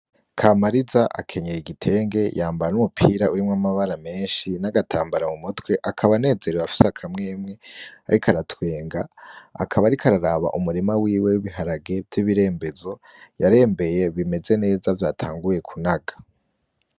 Kamariza akenyeye igitenge yambaye n'umupira urimwo amabara menshi n'agatambara mu mutwe, akaba anezerewe afise akamwemwe ariko aratwenga, akaba ariko araraba umurima wiwe w'ibiharage vy'ibirembezo yarembeye bimeze neza vyatanguye kunaga.